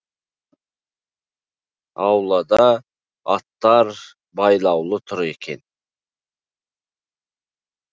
аулада аттар байлаулы тұр екен